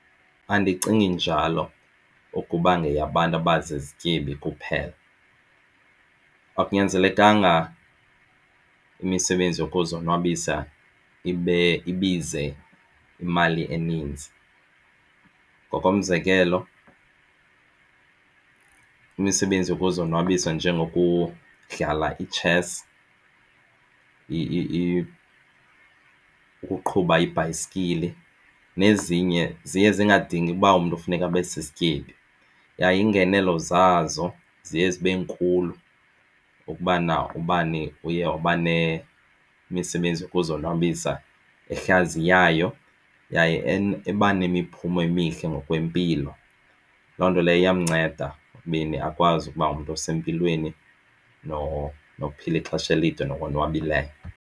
Andicingi njalo ukuba yeyabantu abazizityebi kuphela, akunyanzelekanga imisebenzi yokuzonwabisa ibize imali eninzi. Ngokomzekelo imisebenzi yokuzonwabisa njengokudlala itshesi ukuqhuba ibhayisikili nezinye ziye zingadingi uba umntu kufuneka abe usisityebi, yaye iingenelo zazo ziye zibe nkulu ukubana ubani uye waba nemisebenzi yokuzonwabisa ehlaziyayo yaye eba nemiphumo emihle ngokwempilo. Loo nto leyo iyamnceda ekubeni akwazi ukuba ngumntu osempilweni nophila ixesha elide nowonwabileyo.